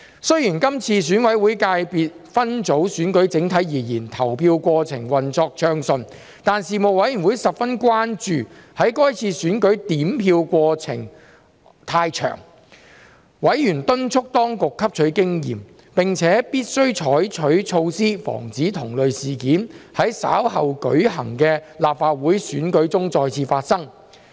雖然這次選委會界別分組選舉整體而言，投票過程運作暢順，但事務委員會十分關注在該次選舉點票過程冗長，委員敦促當局汲取經驗，並且必須採取措施防止同類事件在稍後舉行的立法會選舉中再次發生。